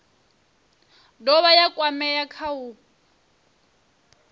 dovha ya kwamea kha u